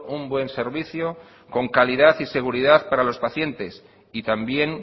un buen servicio con calidad y seguridad para los pacientes y también